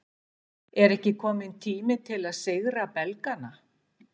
Er ekki kominn tími til að sigra Belgana?